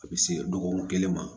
A bɛ se dɔgɔkun kelen ma